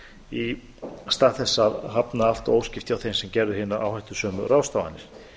í stað þess að hafna allt og óskipt hjá þeim sem gerðu hinar áhættusömu ráðstafanir